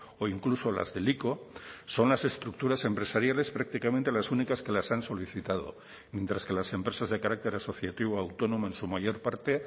o incluso las del ico son las estructuras empresariales prácticamente las únicas que las han solicitado mientras que las empresas de carácter asociativo autónomo en su mayor parte